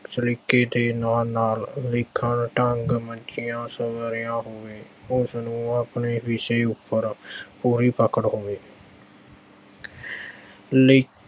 ਸਲੀਕੇ ਦੇ ਨਾਲ-ਨਾਲ ਲਿਖਣ ਢੰਗ ਮੰਝਿਆ-ਸੁਧਰਿਆ ਹੋਵੇ ਉਸਨੂੰ ਆਪਣੇ ਵਿਸ਼ੇ ਉੱਪਰ ਪੂਰੀ ਪਕੜ ਹੋਵੇ ਲਿਖਅਹ